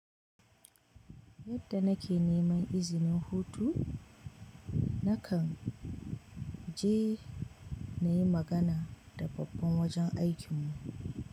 Yadda nake neman izinin hutu, na kan je na yi magana da babban wajen aikin mu.